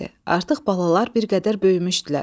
Artıq balalar bir qədər böyümüşdülər.